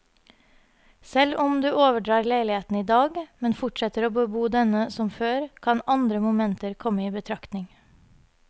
Selv om du overdrar leiligheten i dag, men fortsetter å bebo denne som før, kan andre momenter komme i betraktning.